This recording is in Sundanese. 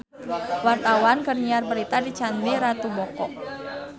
Wartawan keur nyiar berita di Candi Ratu Boko